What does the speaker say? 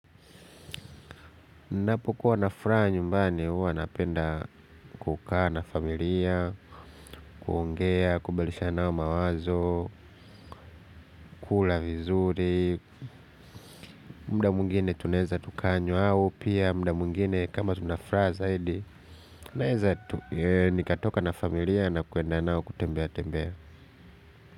Napokuwa na furaha nyumbani huwa napenda kukaa na familia, kuongea, kubadilishana nao mawazo, kula vizuri, muda mwingine tunaweza tukanywa au, pia muda mwingine kama tuna furaha zaidi, nikatoka na familia na kwenda nao kutembea tembea.